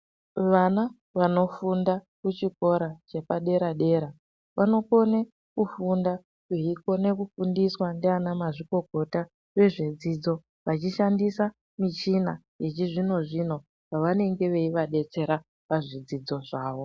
Vana vanofunda kuchikora chepadera-dera vanokone kufunda veikone kufundiswa ndianamazvikokota vezvedzidzo. Vechishandisa michina yechizvino-zvino pavanenge veivadetsera pazvidzidzo zvavo.